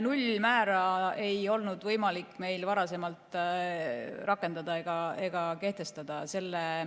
Nullmäära ei olnud võimalik meil varem rakendada ega kehtestada.